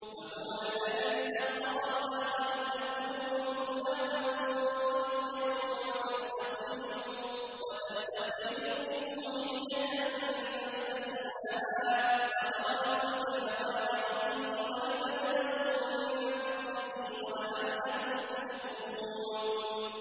وَهُوَ الَّذِي سَخَّرَ الْبَحْرَ لِتَأْكُلُوا مِنْهُ لَحْمًا طَرِيًّا وَتَسْتَخْرِجُوا مِنْهُ حِلْيَةً تَلْبَسُونَهَا وَتَرَى الْفُلْكَ مَوَاخِرَ فِيهِ وَلِتَبْتَغُوا مِن فَضْلِهِ وَلَعَلَّكُمْ تَشْكُرُونَ